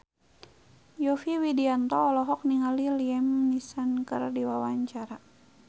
Yovie Widianto olohok ningali Liam Neeson keur diwawancara